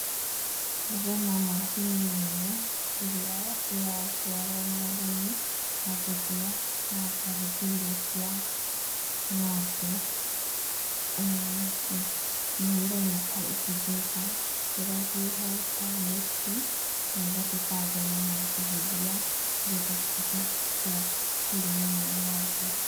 Ndĩrona macini nene ĩrĩa ĩratwarwo nĩ arĩmi, ya gũthĩa na kũhũthia irio cia ng'ombe, nĩ ĩroneka ĩkĩgetha kĩrĩa kĩho ta nyeki, na ĩgatuĩka ya gũthĩa na gũcihũthia nĩgetha cituĩke cia kũrĩo nĩ ng'ombe.